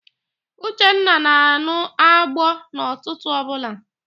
Uchenna na-an̄ụ agbo n'ụtụtụ ọbụla